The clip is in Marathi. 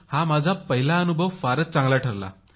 हा माझा पहिला अनुभव फारच चांगला ठरला